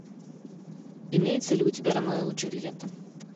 имеется ли у тебя ромео и джульетта